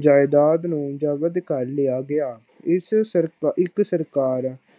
ਜਾਇਦਾਦ ਨੂੰ ਜ਼ਬਤ ਕਰ ਲਿਆ ਗਿਆ। ਇਸ ਸਰਕਇੱਕ ਸਰਕਾਰ